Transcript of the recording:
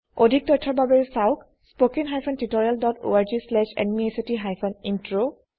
অধিক তথ্যৰ বাবে চাওকস্পোকেন hyphen tutorial dot O R G slash NMEICT hyphen intro